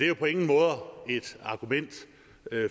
jo på ingen måde et argument